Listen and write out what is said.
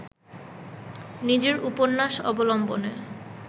নিজের উপন্যাস অবলম্বনে